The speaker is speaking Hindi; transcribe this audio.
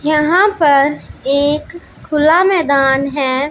यहां पर एक खुला मैदान है।